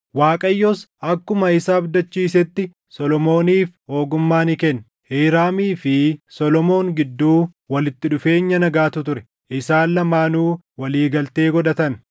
Waaqayyos akkuma isa abdachiisetti Solomooniif ogummaa ni kenne. Hiiraamii fi Solomoon gidduu walitti dhufeenya nagaatu ture; isaan lamaanuu walii galtee godhatan.